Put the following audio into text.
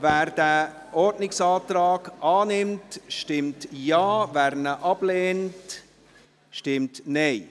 –Wer den Ordnungsantrag annimmt, stimmt Ja, wer diesen ablehnt, stimmt Nein.